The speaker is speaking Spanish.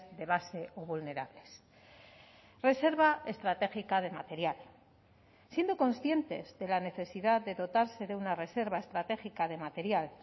de base o vulnerables reserva estratégica de material siendo conscientes de la necesidad de dotarse de una reserva estratégica de material